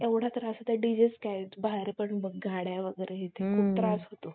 खुप त्रास होतो